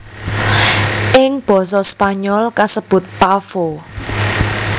Ing basa Spanyol kasebut Pavo